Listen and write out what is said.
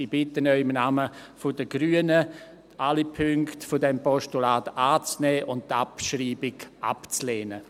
Ich bitte Sie im Namen der Grünen, alle Punkte dieses Postulats anzunehmen und die Abschreibung abzulehnen.